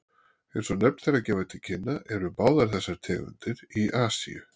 Eins og nöfn þeirra gefa til kynna eru báðar þessar tegundir í Asíu.